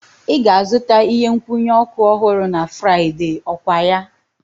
Ị ga-azụta ihe nkwụnye oku ọhụrụ na Fraịde, okwaya?